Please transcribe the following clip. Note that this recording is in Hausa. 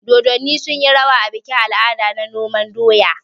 Dodonni sunyi rawa a bikin al'ada na noman doya.